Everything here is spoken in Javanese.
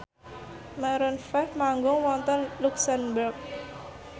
Maroon 5 manggung wonten luxemburg